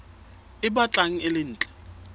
e batlang e le ntle